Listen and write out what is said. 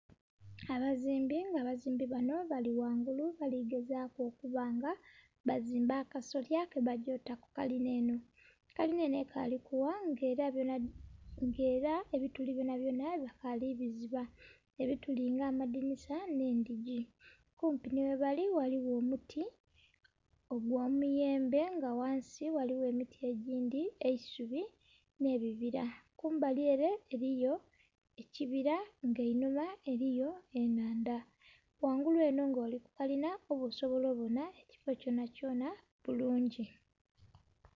Abazimbi nga abazimbi banho bali ghangulu baligezaku okuba nga bazimba akasolya ke bagya okukuta ku kalina enho, kalina enho ekali kugha nga era ebituli byona byona bakali biziba ebituli nga amadhinisa nhe endhigii. Kumpi nhi ghebali ghaligho omuti ogwo miyembe nga ghansi ghaligho emiti egiindhi, eisubi nhe bibira. Kumbali ere eriyo ekibira nga einhuma eriyo enhandha . Ghangulu enho nga oli ku kalina oba osobola obonha ekifo kyonakyona bulungi.